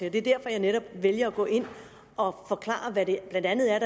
at jeg netop vælger at gå ind og forklare hvad der blandt andet